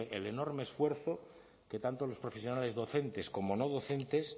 el enorme esfuerzo que tanto los profesionales docentes como no docentes